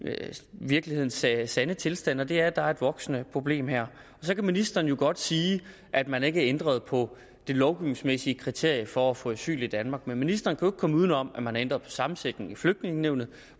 virkelighedens sande sande tilstand og det er at der er et voksende problem her så kan ministeren jo godt sige at man ikke har ændret på det lovgivningsmæssige kriterie for at få asyl i danmark men ministeren kan komme uden om at man har ændret på sammensætningen i flygtningenævnet